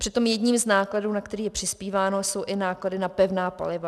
Přitom jedním z nákladů, na který je přispíváno, jsou i náklady na pevná paliva.